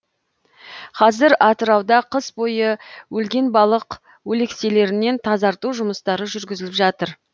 қазір атырауда қыс бойы өлген балық өлекселерінен тазарту жұмыстары жүргізіліп жатыр